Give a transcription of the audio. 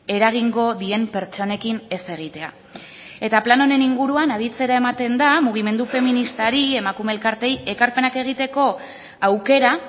eragingo dien pertsonekin ez egitea eta plan honen inguruan aditzera ematen da mugimendu feministari emakume elkarteei ekarpenak egiteko aukera